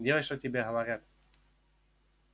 делай что тебе говорят